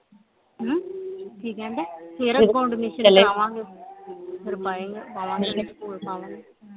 ਹਮ ਕਿ ਕਹਿਣ ਢਏ ਕਰਾਵਾਂਗੇ ਫੇਰ ਸਕੂਲ ਪਾਵਾਂਗੇ